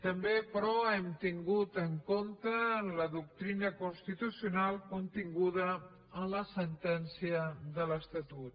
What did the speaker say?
també però hem tingut en compte la doctrina constitucional continguda en la sentència de l’estatut